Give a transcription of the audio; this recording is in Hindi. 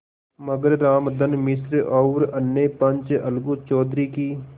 मगर रामधन मिश्र और अन्य पंच अलगू चौधरी की